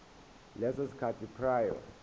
leso sikhathi prior